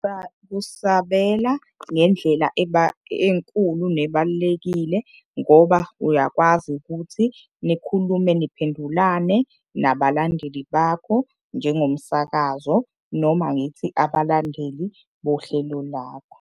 kusabela ngendlela enkulu, nebalulekile ngoba uyakwazi ukuthi nikhulume niphendulane nabalandeli bakho njengomsakazo, noma ngithi abalandeli bohlelo lakho.